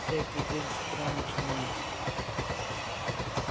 всякий день с утра начинается